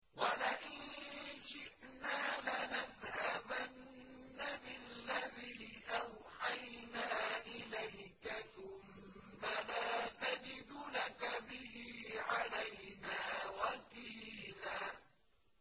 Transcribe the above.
وَلَئِن شِئْنَا لَنَذْهَبَنَّ بِالَّذِي أَوْحَيْنَا إِلَيْكَ ثُمَّ لَا تَجِدُ لَكَ بِهِ عَلَيْنَا وَكِيلًا